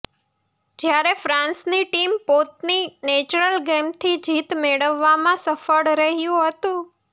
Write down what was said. જ્યારે ફ્રાન્સની ટીમ પોતની નેચરલ ગેમથી જીત મેળવવામાં સફળ રહ્યું હતું